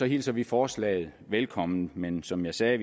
hilser vi forslaget velkommen men som jeg sagde